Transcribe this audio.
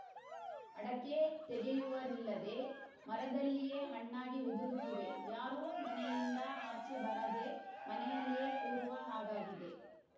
ಅಡಕೆ ತೆಗೆಯುವರಿಲ್ಲದೆ ಮರದಲ್ಲಿಯೇ ಹಣ್ಣಾಗಿ ಉದುರುತ್ತಿವೆ ಯಾರೂ ಮನೆಯಿಂದ ಆಚೆ ಬಾರದೆ ಮನೆಯಲ್ಲಿಯೇ ಕೂರುವ ಹಾಗಾಗಿದೆ